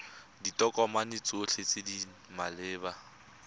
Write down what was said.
ditokomane tsotlhe tse di maleba